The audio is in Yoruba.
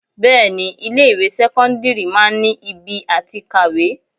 Bẹẹni ilé ìwé sẹ́kọ́ńdírì máa ń ibi àti kàwé.